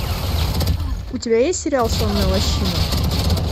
у тебя есть сериал сонная лощина